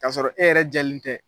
K'a sɔrɔ e yɛrɛ jɛlen tɛ